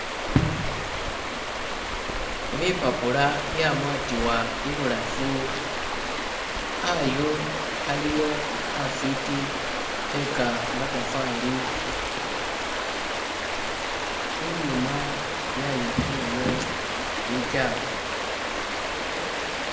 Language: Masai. Bipapula byamwatibwa ibulafu, khayu khaliwo khafiti khekamatafali inyuma yayitsulayo bikyafu.